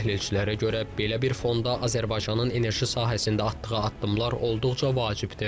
Təhlilçilərə görə, belə bir fonda Azərbaycanın enerji sahəsində atdığı addımlar olduqca vacibdir.